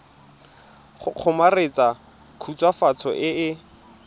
go kgomaretsa khutswafatso e e